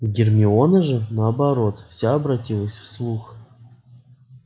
гермиона же наоборот вся обратилась в слух